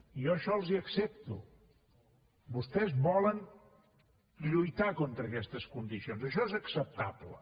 jo això els ho accepto vostès volen lluitar contra aquestes condicions això és acceptable